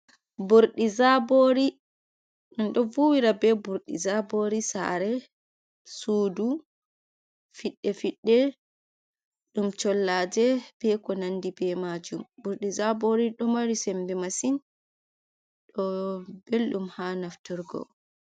Burdi zabori. Ɗum ɗo vuwira be burdi zabori sare, sudu fidde-fidde, dum sollaje be ko nandi be majum. Burdi zabori do mari sembe masin. Ɗo beldum ha nafturgo.